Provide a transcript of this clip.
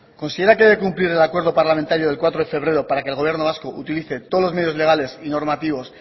considera que hay que cumplir el acuerdo parlamentario del cuatro de febrero para que el gobierno vasco utilice todos los medios legales y normativos